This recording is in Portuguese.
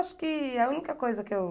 Eu acho que a única coisa que eu...